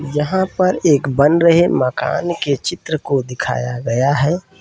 यहाँ पर एक बन रहे मकान के चित्र को दिखाया गया है।